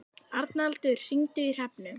Arnaldur, hringdu í Hrefnu.